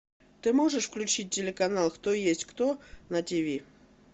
ты можешь включить телеканал кто есть кто на ти ви